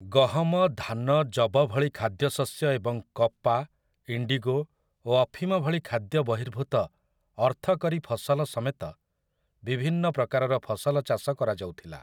ଗହମ, ଧାନ, ଯବ ଭଳି ଖାଦ୍ୟଶସ୍ୟ ଏବଂ କପା, ଇଣ୍ଡିଗୋ ଓ ଅଫିମ ଭଳି ଖାଦ୍ୟ ବହିର୍ଭୂତ ଅର୍ଥକରୀ ଫସଲ ସମେତ ବିଭିନ୍ନ ପ୍ରକାରର ଫସଲ ଚାଷ କରାଯାଉଥିଲା ।